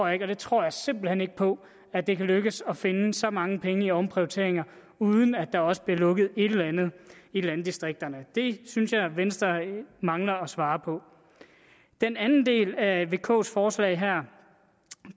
jeg tror simpelt hen ikke på at det kan lykkes at finde så mange penge i omprioriteringer uden at der også bliver lukket et eller andet i landdistrikterne det synes jeg venstre mangler at svare på den anden del af vks forslag her